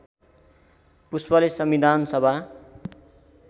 पुष्पले संविधान सभा